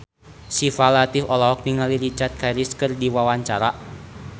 Syifa Latief olohok ningali Richard Harris keur diwawancara